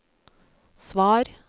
svar